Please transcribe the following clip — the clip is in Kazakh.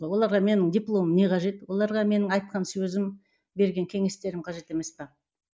оларға менің дипломым не қажет оларға менің айтқан сөзім берген кеңестерім қажет емес пе